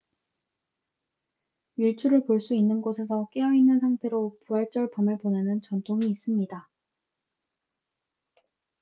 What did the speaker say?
일출을 볼 수 있는 곳에서 깨어 있는 상태로 부활절 밤을 보내는 전통이 있습니다